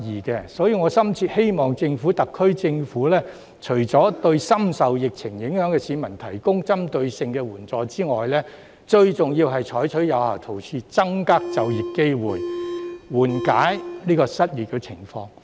因此，我深切希望特區政府除對深受疫情影響的市民提供針對性的援助外，最重要是採取有效措施，增加就業機會，緩解失業情況。